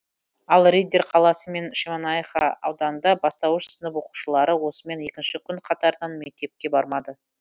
ал риддер қаласы мен шемонайха ауданында бастауыш сынып оқушылары осымен екінші күн қатарынан мектепке бармады